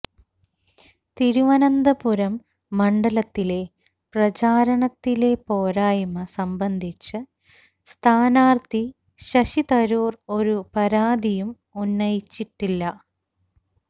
തിരുവനന്തപുരം മണ്ഡലത്തിലെ പ്രചാരണത്തിലെ പോരായ്മ സംബന്ധിച്ച് സ്ഥാനാർഥി ശശി തരൂർ ഒരു പരാതിയും ഉന്നയിച്ചിട്ടില്ല